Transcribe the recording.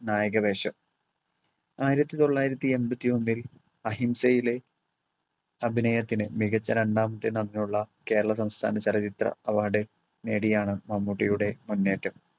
നായക വേഷം. ആയിരത്തി തൊള്ളായിരത്തി എമ്പത്തിയൊന്നിൽ അഹിംസയിലെ അഭിനയത്തിന് മികച്ച രണ്ടാമത്തെ നടനുള്ള കേരള സംസ്ഥാന ചലച്ചിത്ര award നേടിയാണ് മമ്മൂട്ടിയുടെ മുന്നേറ്റം.